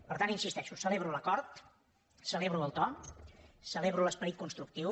per tant hi insisteixo celebro l’acord celebro el to celebro l’esperit constructiu